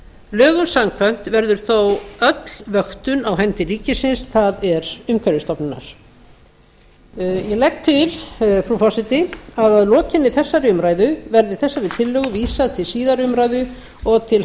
lögum samkvæmt verður þó öll vöktun á hendi ríkisins það er umhverfisstofnunar ég legg til frú forseti að lokinni þessari umræðu verði þessari tillögu vísað til síðari umræðu og til